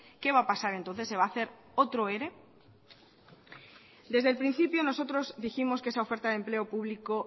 qué va a pasar entonces se va a hacer otro ere desde el principio nosotros dijimos que esa oferta de empleo público